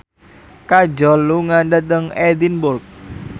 Kajol lunga dhateng Edinburgh